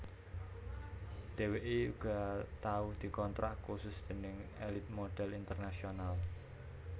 Dheweké uga tau dikontrak khusus déning Elite Modhel International